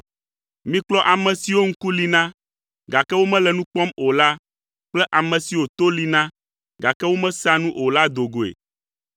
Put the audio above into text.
Mikplɔ ame siwo ŋku li na, gake womele nu kpɔm o la kple ame siwo to li na, gake womesea nu o la do goe.